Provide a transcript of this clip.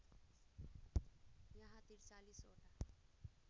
यहाँ ४३ वटा